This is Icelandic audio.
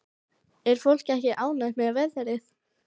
Er fólk ekki ánægt með veðrið?